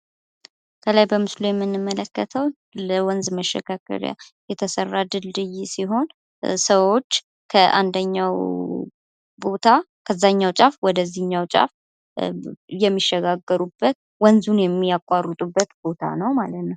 ከላይ በምስሉ የምንመለከተው ለወንዝ መሸጋገሪያ የተሰራ ድልድይ ሲሆን ሰዎች ከአንደኛው ቦታ ከአንደኛው ጫፍ ወደዚህኛው ጫፍ የሚሸጋገሩበት ወንዙን የሚያቋርጡበት ቦታ ነው ማልት ነው።